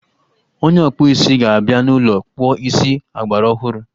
Onye ọkpụ isi ga-abịa n'ụlọ kpụọ isi ọgbaraọhụrụ